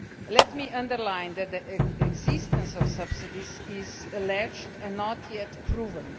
Let me underline that the existence of subsidies is alleged and not yet proven.